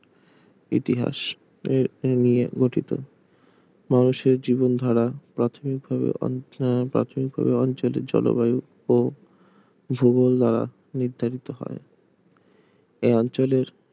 ইতিহাস নিয়ে গঠিত মানুষের জীবনধারা প্রাথমিকভাবে অঞ্চলের জলবায়ু ও ভূগোল দ্বারা নির্ধারিত হয় এ অঞ্চলের